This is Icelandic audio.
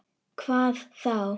Hvað þá!